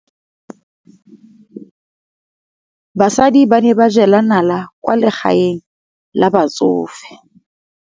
Basadi ba ne ba jela nala kwaa legaeng la batsofe.